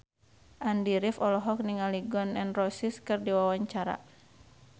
Andy rif olohok ningali Gun N Roses keur diwawancara